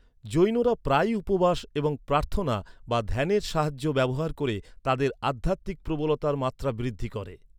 জৈনরা প্রায়ই উপবাস এবং প্রার্থনা বা ধ্যানের সাহায্য ব্যবহার করে তাদের আধ্যাত্মিক প্রবলতার মাত্রা বৃদ্ধি করে।